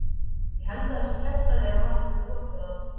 Ég held að það sé kjaftæði að hann hafi brotið á honum.